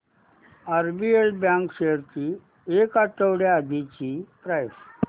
RBL bank shares ची एक आठवड्या आधीची प्राइस